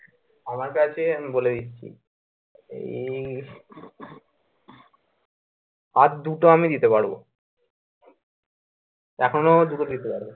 আমার কাছে আমি বলে দিচ্ছি এই আর দুটো আমি দিতে পারবো এখন ও আমি দুটো দিতে পারবো।